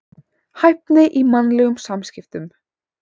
Hæfni í mannlegum samskiptum.